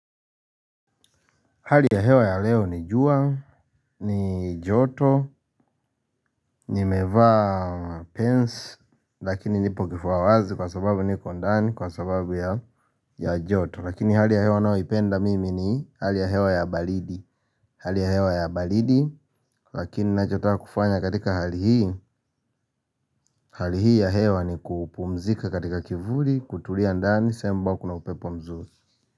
Hali ya hewa ya leo ni jua ni joto nimevaa pens lakini nipo kifua wazi kwa sababu niko ndani kwa sababu ya joto, lakini hali ya hewa ninayoipenda mimi ni hali ya hewa ya baridi, hali ya hewa ya baridi lakini ninachotaka kufanya katika hali hii, hali hii ya hewa ni kupumzika katika kivuli kutulia ndani sehemu ambapo kuna upepo mzuri.